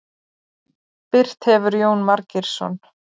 Birt hefur Jón Margeirsson.